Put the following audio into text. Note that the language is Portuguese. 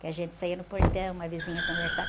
Que a gente saía no portão, uma vizinha conversava.